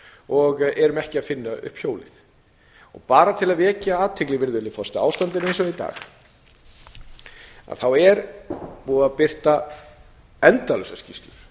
og erum ekki að finna upp sjóði og bara til að vekja athygli á ástandinu eins og það er í dag þá er búið að birta endalausar skýrslur